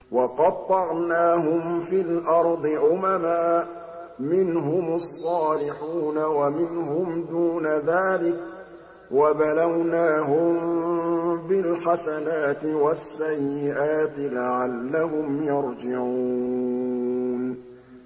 وَقَطَّعْنَاهُمْ فِي الْأَرْضِ أُمَمًا ۖ مِّنْهُمُ الصَّالِحُونَ وَمِنْهُمْ دُونَ ذَٰلِكَ ۖ وَبَلَوْنَاهُم بِالْحَسَنَاتِ وَالسَّيِّئَاتِ لَعَلَّهُمْ يَرْجِعُونَ